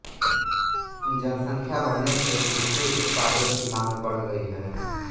जनसंख्या बढ़ने से कृषि उत्पादों की मांग बढ़ गई